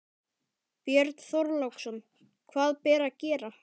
Björn Þorláksson: Hvað ber að gera?